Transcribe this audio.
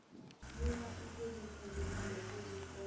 lula ukuzifunda nokuziqonda